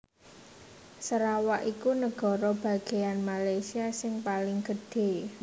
Sarawak iku nagara bagéyan Malaysia sing paling gedhé